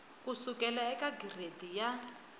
ku sukela eka giredi ya